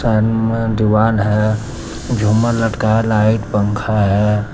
दिवाल है झूमर लटका है लाइट पंखा हैं।